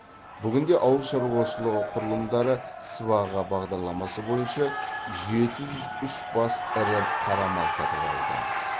бүгінде ауыл шаруашылығы құрылымдары сыбаға бағдарламасы бойынша жеті жүз үш бас ірі қара мал сатып алды